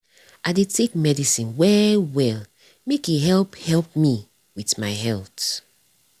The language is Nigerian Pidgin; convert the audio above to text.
i dey take medicine well well make e help help me with my health.